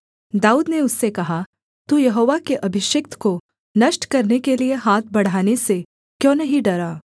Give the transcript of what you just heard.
दाऊद ने उससे कहा तू यहोवा के अभिषिक्त को नष्ट करने के लिये हाथ बढ़ाने से क्यों नहीं डरा